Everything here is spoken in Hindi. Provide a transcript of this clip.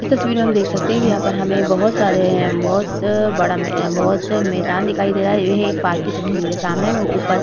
इस तस्वीर में हम देख सकते है कि यहाँ पे हमें बहुत सारे है बहुत बड़ा बहुत मैदान दिखाई दे रहा है ये है एक पार्क की तस्वीर है सामने में ऊपर --